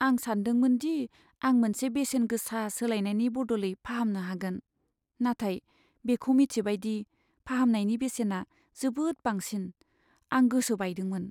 आं सान्दोंमोन दि आं मोनसे बेसेन गोसा सोलायनायनि बदलै फाहामनो हागोन, नाथाय बेखौ मिथिबाय दि फाहामनायनि बेसेना जोबोद बांसिन, आं गोसो बायदोंमोन।